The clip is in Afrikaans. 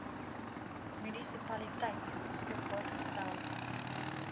munisipaliteit beskikbaar gestel